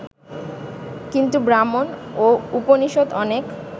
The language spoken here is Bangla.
কিন্তু ব্রাহ্মণ ও উপনিষৎ অনেক